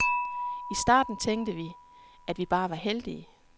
I starten tænkte vi, at vi bare var heldige.